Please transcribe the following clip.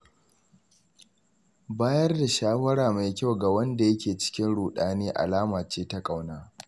Bayar da shawara mai kyau ga wanda yake cikin ruɗani alama ce ta ƙauna.